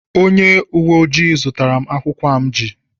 Onye uwe ojii zụtara m akwụukwọ a m ji